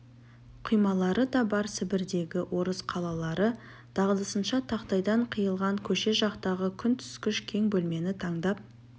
құймалары да бар сібірдегі орыс қалалары дағдысынша тақтайдан қиылған көше жақтағы күн түскіш кең бөлмені тандап